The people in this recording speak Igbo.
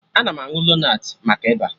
Ana m aṅụ lonat maka Ịba